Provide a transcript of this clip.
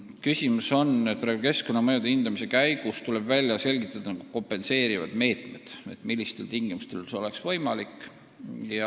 Probleem on selles, et keskkonnamõjude hindamise käigus tuleb välja selgitada kompenseerivad meetmed ja üldse, millistel tingimustel see tegevus oleks võimalik.